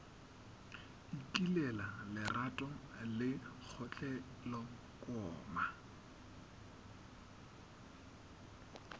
ikilela lerato le kgotlelo koma